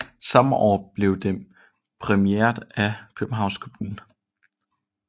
Samme år blev den præmieret af Københavns Kommune